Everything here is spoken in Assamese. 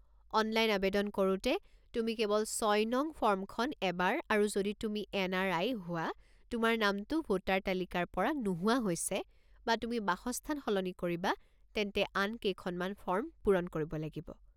অনলাইন আৱেদন কৰোঁতে তুমি কেৱল ৬নং ফৰ্মখন এবাৰ আৰু যদি তুমি এন.আৰ.আই. হোৱা, তোমাৰ নামটো ভোটাৰ তালিকাৰ পৰা নোহোৱা হৈছে, বা তুমি বাসস্থান সলনি কৰিবা তেন্তে আন কেইখনমান ফৰ্ম পূৰণ কৰিব লাগিব।